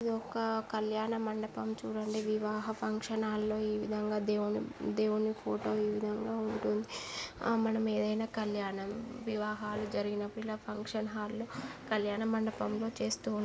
ఆ కల్యాణ మండపం చూడండి. వివాహ ఫంక్షన్ హాల్ లో ఈ విధంగా దేవుని దేవుని ఫోటో ఈ విధంగా ఉంటుంది. > మనము ఏదైనా కళ్యాణం వివాహాలు జరిగినప్పుడు ఇలా ఫంక్షన్ హాల్ లో కల్యాణ మండపం లో చేస్తూ--